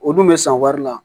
O dun bɛ san wari la